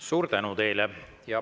Suur tänu teile!